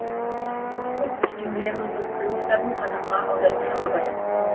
орыстың пушкин лермонтов крыловтарын қазаққа аударушы абай